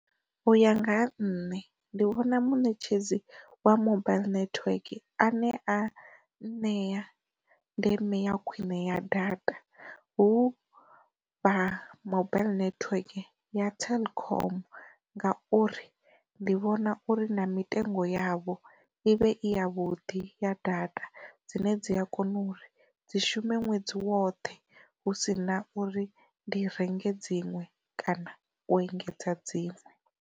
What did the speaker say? U ya nga ha nṋe, ndi vhona munetshedzi wa mobile network a ne a nṋea ndeme ya khwine ya data hu vha mobile network ya telkom nga uri ndi vhona uri na mitengo yavho i vhe i ya vhuḓi ya data dzine dzi a kona u dzi shume ṅwedzi woṱhe hu si na uri ndi renge dziṅwe kana u engedza dziṅwe.